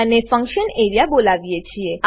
અને function area બોલાવીએ છીએ